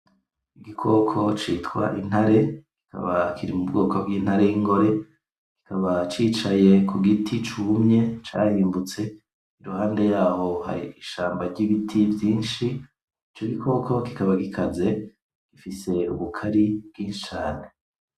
Igikoko citwa Intare, kikaba kiri mubwoko bw'intare y'ingore kikaba cicaye kugiti cumye carimbutse, iruhande yaho hakaba hari ishamba ry'ibiti vyinshi. Ico gikoko kikaba gikaze gifise ubukari bwinshi cane.